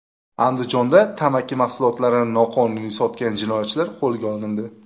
Andijonda tamaki mahsulotlarini noqonuniy sotgan jinoyatchilar qo‘lga olindi.